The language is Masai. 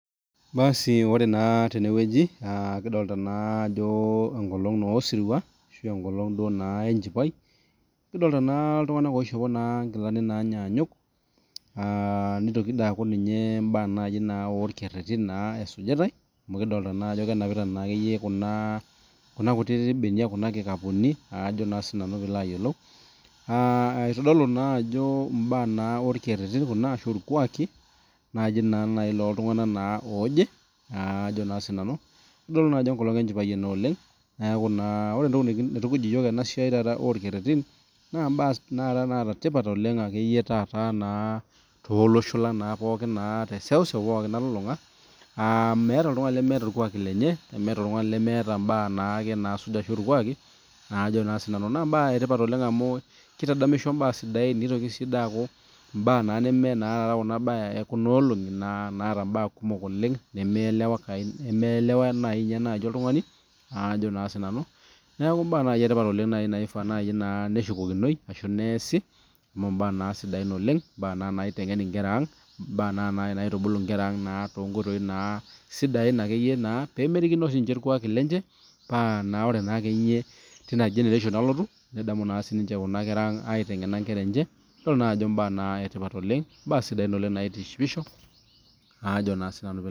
Basi oree naa tenewueji kidolita naa enkolong oo sirua enkolong duo naa enchipai kadolita naa ltunganak oishopo nkilanik naanyanyuk aah nitoki naa aku ninye orkereri naa esujitae amu kidolita naa akeyie enapitae kuna kutitik benia kuna kikapuni aajo naa sinanu pee ilo ayiolou eitodolu naa ajo mbaa naa orkereri kuna ashu rkwaki naji naa ltunganak ajo naa sinanu itodolu ajo enkolong enchipai ena oleng niaku naa ore entoki naitukuj yiok ena siai taata oo rkererin naa mbaa taata naata tipat naa tolosho lang pookin te seuseu nalulunga aa meeta oltungani lemeeta orkwak lenye nemeeta oltungani lemeeta mbaa enyena naisuj oshi orkuaki kake tipat oleng amu kitadamisho mbaa sidain nitoki aku mme mbaa ee kuna olongi naata mbaa kumok oleng nemielewanayu naaji oltungani aajo naa sinanu niaku mbaa sidan naaji nashukokino neshukokinoi ashu neesi amu mbaa na sidain aa naitengen nkerra ang eitubulu nkerra ang too nkoitoi sidain naa pee merikino sinche rkwaki lenche paa ore teina generation nalotu nedamu siinche kuna kerra ang aitengen nkerra enche yiolo naa ajo mbaa sidain naitishipisho